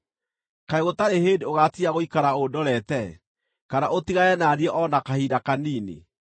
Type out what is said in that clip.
Kaĩ gũtarĩ hĩndĩ ũgaatiga gũikara ũndorete, kana ũtigane na niĩ o na kahinda kanini?